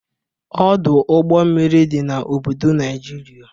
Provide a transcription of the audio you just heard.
Ọdụ ụgbọ mmiri dị n'obodo Najiria.